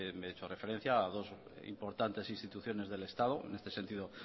y he hecho referencia a dos importantes instituciones del estado en este sentido